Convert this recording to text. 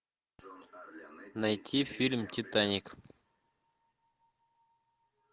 найти фильм титаник